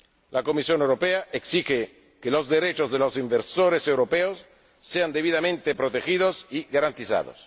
La Comisión Europea exige que los derechos de los inversores europeos sean debidamente protegidos y garantizados.